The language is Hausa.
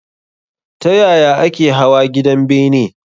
Ta yaya ake hawa gidan bene?